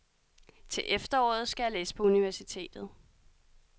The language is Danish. Til efteråret skal jeg læse på universitetet.